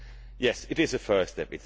Yes, it is a first step.